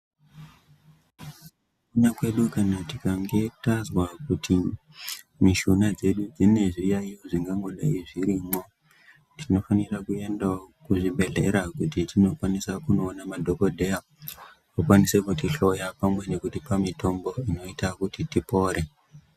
..ona kwedu kana tikange tazwa kuti mishuna dzedu dzine zviyayo zvingangodai zvirimwo. Tinofanira kuendawo kuzvibhedhlera kuti tinokwanisa kuoona madhogodheya vakwanise kutihloya pamwe nekutipa mitombo inoita kuti tipore.